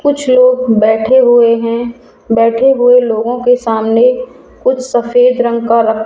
कुछ लोग बैठे हुए हैं बैठे हुए लोगों के सामने कुछ सफेद रंग का रक --